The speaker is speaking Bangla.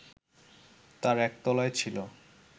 তার একতলায় ছিল